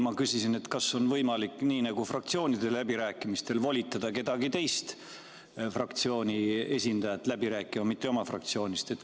Ma küsisin, et kas on võimalik nii nagu fraktsioonide läbirääkimistel volitada kedagi teise fraktsiooni esindajat läbi rääkima, mitte oma fraktsioonist.